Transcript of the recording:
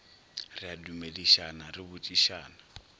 re a dumedišana re botšišana